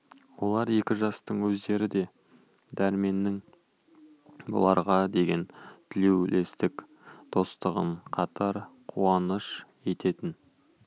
ол екі жастың өздері де дәрменнің бұларға деген тілеулестік достығын қатар қуаныш ететін